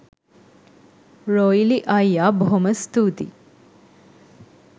රොයිලි අයියා බොහොම ස්තුතියි.